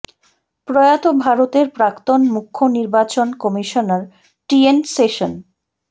প্রয়াত ভারতের প্রাক্তন মুখ্য নির্বাচন কমিশনার টি এন সেশন